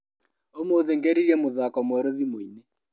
ũmũthĩ ngeririe mũthako mwerũ thimũinĩ.